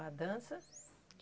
A dança?